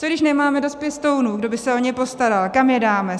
Co když nemáme dost pěstounů, kdo by se o ně postaral, kam je dáme?